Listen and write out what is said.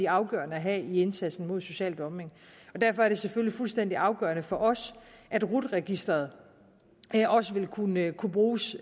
afgørende at have i indsatsen mod social dumping derfor er det selvfølgelig fuldstændig afgørende for os at rut registeret også vil kunne kunne bruges